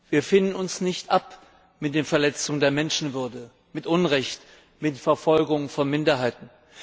Wir finden uns nicht ab mit den Verletzungen der Menschenwürde, mit dem Unrecht, mit der Verfolgung von Minderheiten.